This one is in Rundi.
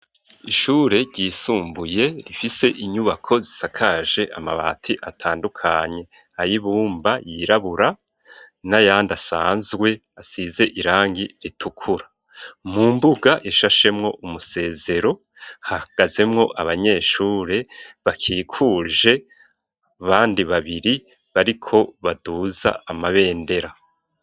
Ishure ryisumbuye rifise inyubako zisakaje amabati atandukanye ayibumba yirabura n'ayandasanzwe asize irangi ritukura, mu mbuga ishashemwo umusezero hagazemwo abanyeshure bakikuje bandi babiri bariko baduza amabendera.